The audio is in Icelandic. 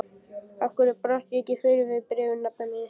af hverju brást ég ekki fyrr við bréfi nafna míns?